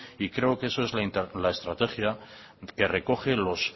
y creo que eso es la estrategia que recoge los